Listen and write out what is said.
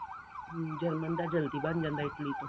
german ਦਾ ਜਲਦੀ ਬਣ ਜਾਂਦਾ Italy ਤੋਂ